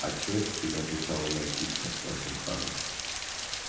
а что это ты не отвечал на мои письма спросил хагрид